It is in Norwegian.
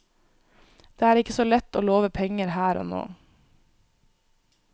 Det er ikke så lett å love penger her og nå.